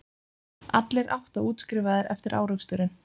Allir átta útskrifaðir eftir áreksturinn